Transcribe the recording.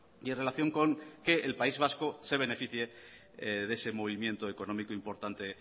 y en relación con que el país vasco se beneficie de ese movimiento económico importante